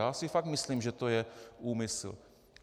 Já si fakt myslím, že to je úmysl.